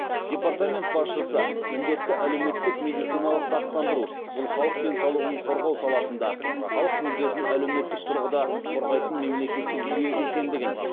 департамент басшысы міндетті әлеуметтік медициналық сақтандыру бұл халық денсаулығын қорғау саласында халық мүддесін әлеуметтік тұрғыда қорғайтын мемлекеттік жүйе екендігін